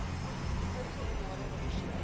histories benadeelde persone